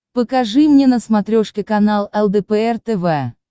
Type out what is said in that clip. покажи мне на смотрешке канал лдпр тв